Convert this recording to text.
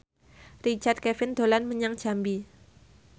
Richard Kevin dolan menyang Jambi